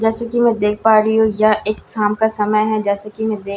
जैसे की मैं देख पा रही हूं यह एक शाम का समय है जैसे कि मैं देख--